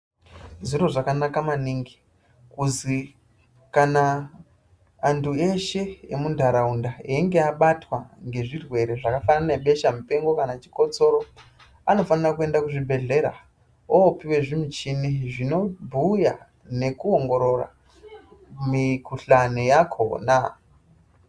Zviro zvakanaka maningi kuzi kana antu eshe emu ntauraunda einge abatwa nge zvirwere zvafanana nge beshe mupengo kana chikotsoro anofanira ku enda ku zvibhedhlera opuwa michini zvino bhuya neku ongorora mu kuhlani yakona.